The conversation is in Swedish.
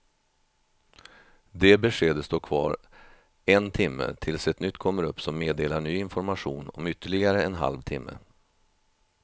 Det beskedet står kvar en timme tills ett nytt kommer upp som meddelar ny information om ytterligare en halv timme.